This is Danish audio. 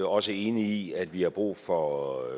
også enig i at vi har brug for